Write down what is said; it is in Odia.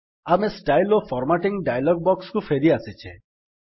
ଆମେ ଷ୍ଟାଇଲ୍ସ ଓ ଫର୍ମାଟିଙ୍ଗ୍ ଡାୟଲଗ୍ ବକ୍ସ୍ କୁ ଫେରିଆସିଛେ